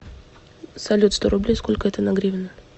салют сто рублей сколько это на гривны